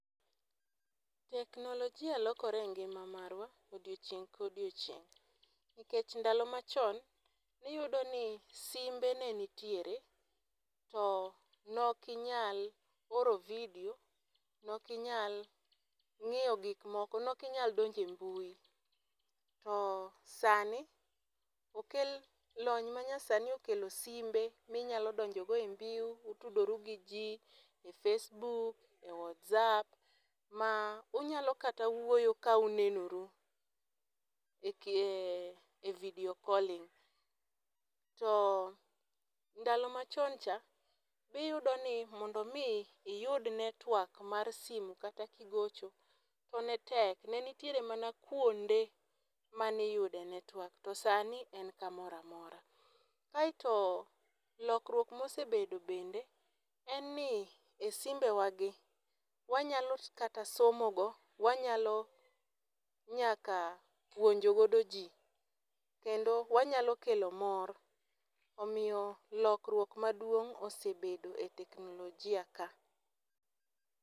Teknolojia lokore e ngima marwa odiechieng' ka odiechieng'. Nikech ndalo machon, ne iyudo ni simbe ne nitiere, to ne okinyal oro video, ne okinyal ngíyo gik moko, ne okinyal donjo e mbui. To sani, okel, lony ma nyasani okelo simbe, minyalo donjo go ei mbui, itudori gi ji, e facebook, e whatsapp, ma unyalo kata wuoyo ka unenoru. e video calling. To ndalo ma chon cha, ni yudo ni mondo iyud network mar simu kata ki gocho, to ne tek. Ne nitiere mana kuonde ma iyude network. To sani, en kamoro amora. Kaeto lokruok ma osebedo bende, en ni e simbewagi, wanyalo kata somo go, wanyalo nyaka puonjo godo ji, kendo wanyalo kelo mor. Omiyo lokruok maduong' osebedo e teknolojia ka.